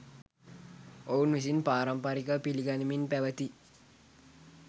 ඔවුන් විසින් පාරම්පරිකව පිළිගනිමින් පැවැති